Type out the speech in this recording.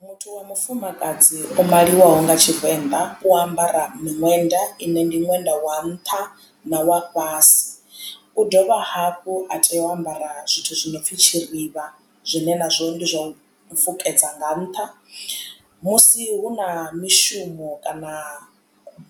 Muthu wa mufumakadzi o maliwaho nga tshivenḓa u ambara miṅwenda ine ndi ṅwenda wa nṱha na wa fhasi u dovha hafhu a tea u ambara zwithu zwi no pfi tshirivha zwine nazwo ndi zwa u fukedza nga nṱha musi hu na mishumo kana